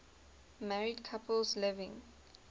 married couples living